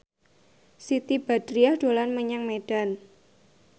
Siti Badriah dolan menyang Medan